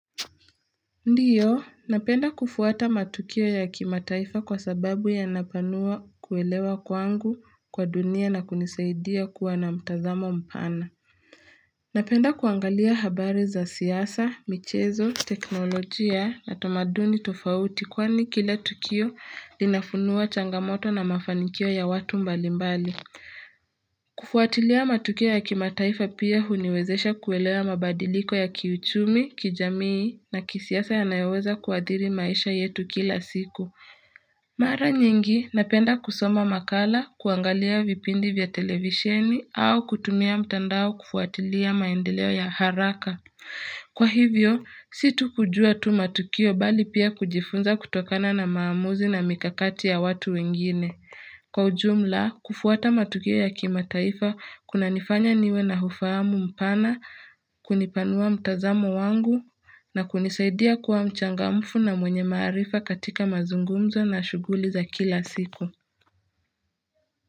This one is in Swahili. Ndiyo, napenda kufuata matukio ya kimataifa kwa sababu yanapanua kuelewa kwangu kwa dunia na kunisaidia kuwa na mtazamo mpana. Napenda kuangalia habari za siasa, michezo, teknolojia na tamaduni tofauti kwani kila tukio linafunua changamoto na mafanikio ya watu mbalimbali. Kufuatilia matukio ya kimataifa pia huniwezesha kuelewa mabadiliko ya kiuchumi, kijamii na kisiasa yanayoweza kuadhiri maisha yetu kila siku Mara nyingi napenda kusoma makala, kuangalia vipindi vya televisheni au kutumia mtandao kufuatilia maendeleo ya haraka Kwa hivyo, situ kujua tu matukio bali pia kujifunza kutokana na maamuzi na mikakati ya watu wengine Kwa ujumla, kufuata matukio ya kimataifa kunanifanya niwe na ufahamu mpana, kunipanua mtazamo wangu na kunisaidia kuwa mchangamfu na mwenye maarifa katika mazungumzo na shuguli za kila siku.